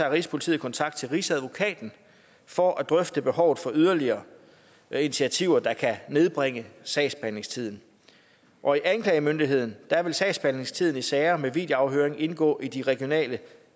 rigspolitiet kontakt til rigsadvokaten for at drøfte behovet for yderligere initiativer der kan nedbringe sagsbehandlingstiden og i anklagemyndigheden vil sagsbehandlingstiden i sager med videoafhøring indgå i de regionale